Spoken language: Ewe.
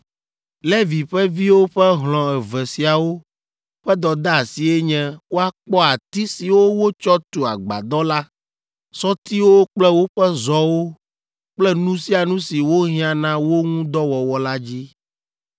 Levi ƒe viwo ƒe hlɔ̃ eve siawo ƒe dɔdeasie nye woakpɔ ati siwo wotsɔ tu Agbadɔ la, sɔtiwo kple woƒe zɔwo kple nu sia nu si wohiã na wo ŋu dɔ wɔwɔ la dzi,